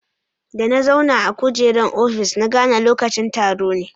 Da na zauna a kujeran ofis, na gane lokacin taro ne.